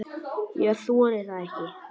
Ég þori það ekki.